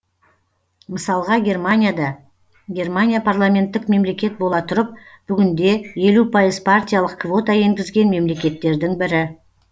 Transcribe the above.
мысалға германияда германия парламенттік мемлекет бола тұрып бүгінде елу пайыз партиялық квота енгізген мемлекеттердің бірі